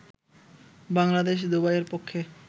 বাংলাদেশ দুবাইয়ের পক্ষে